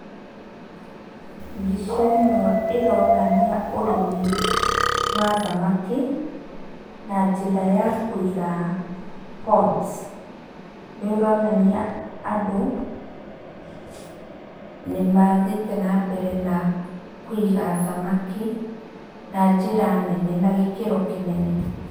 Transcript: Mbica ĩno ĩronania ũrĩmi wa thamaki, na njĩra ya kũiga ponds. Nĩronania andũ nĩmathiĩte na mbere na kũiga thamaki na njĩra nene na gĩkĩro kĩnene.